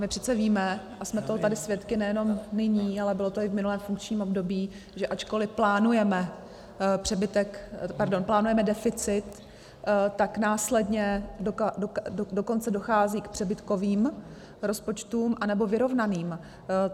My přece víme, a jsme toho tady svědky nejenom nyní, ale bylo to i v minulém funkčním období, že ačkoliv plánujeme deficit, tak následně dokonce dochází k přebytkovým rozpočtům, nebo vyrovnaným.